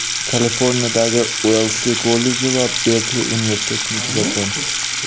Kaliforniyadagi Uellsli kolleji va Berkli universitetini tugatgan.